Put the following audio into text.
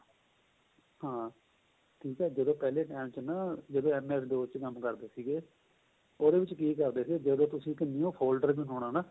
ਹਾਂ ਠੀਕ ਏ ਜਦੋਂ ਪਹਿਲੇ time ਚ ਨਾ ਜਦੋਂ MS ਕੰਮ ਕਰਦੇ ਸੀਗੇ ਉਹਦੇ ਵਿੱਚ ਕਿ ਕਰਦੇ ਸੀਗੇ ਜਦੋਂ ਤੁਸੀਂ ਇੱਕ new folder ਬਣਾਉਣਾ ਨਾ